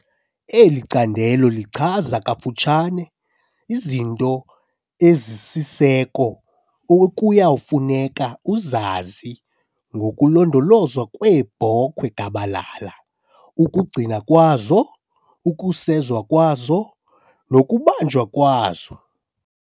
Eli candelo lichaza kafutshane izinto ezisisiseko ekuya kufuneka uzazi ngokulondolozwa kweebhokhwe gabalala, ukugcindwa kwazo, ukusezwa nokubanjwa kwazo.